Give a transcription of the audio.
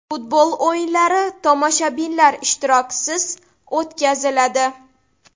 Futbol o‘yinlari tomoshabinlar ishtirokisiz o‘tkaziladi.